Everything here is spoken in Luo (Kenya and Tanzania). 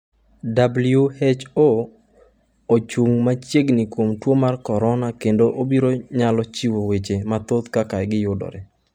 """WHO ochung' machiegni kuom tuo mar korona kendo obiro nyalo chiwo weche mathoth kaka giyudore."